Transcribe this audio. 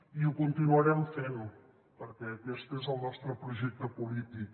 i ho continuarem fent perquè aquest és el nostre projecte polític